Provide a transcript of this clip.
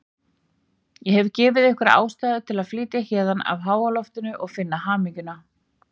Ég hef gefið ykkur ástæðu til að flytja héðan af háaloftinu og finna hamingjuna.